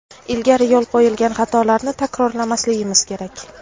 ilgari yo‘l qo‘ygan xatolarni takrorlamasligimiz kerak.